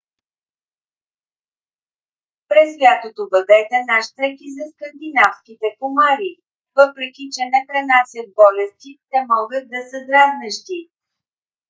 през лятото бъдете нащрек и за скандинавските комари. въпреки че не пренасят болести те могат да са дразнещи